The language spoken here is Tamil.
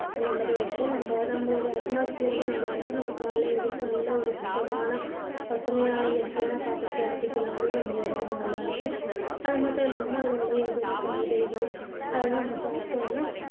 அந்த மாதிரி வச்சுட்டா நம்ப நம்மளோட atmosphere நல்லா இருக்கும் நம்ம காலையில எழுந்துருச்சு நல்ல ஒரு சுத்தமான பசுமையான இயற்கையான காற்ற சுவாசிக்கலாம். அதுவும் நம்ப உடம்புக்கு நல்லா இருக்கும். அது மட்டுமில்லாமல் அதுல விலையுற காய்கறிகள் அதெல்லாம் நம்ப சாப்பிட்டோம்னா